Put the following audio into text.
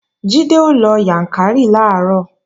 Jídé ó lọ Yàǹkàrí làárọ̀